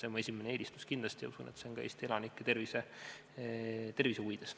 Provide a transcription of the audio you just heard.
See on kindlasti mu esimene eelistus ja usun, et see on ka Eesti elanike tervise huvides.